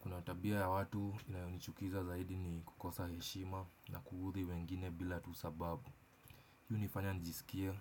Kuna tabia ya watu inayonichukiza zaidi ni kukosa heshima na kuudhi wengine bila tu sababu. Hii hunifanya njisikie